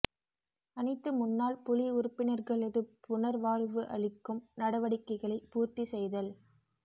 அனைத்து முன்னாள் புலி உறுப்பினர்களது புனர்வாழ்வு அளிக்கும் நடவடிக்கைகளை பூர்த்தி செய்தல்